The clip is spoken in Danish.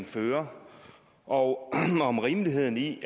fører og om rimeligheden i